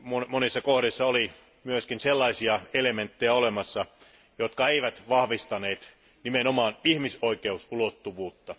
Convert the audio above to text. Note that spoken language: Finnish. Monissa kohdissa oli myös sellaisia elementtejä, jotka eivät vahvistaneet nimenomaan ihmisoikeusulottuvuutta.